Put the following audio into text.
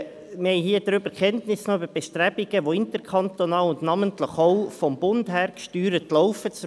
Wir haben von Bestrebungen Kenntnis erhalten, die interkantonal, und namentlich auch vom Bund her gesteuert, am Laufen sind.